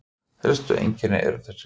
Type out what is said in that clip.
Helstu einkennin eru þessi